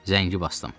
Zəngi basdım.